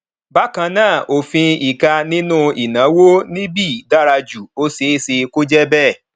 bákan náà òfin ìka nínú ìnáwó ni bí dára jù ó ṣeé ṣe kó jẹ bẹẹ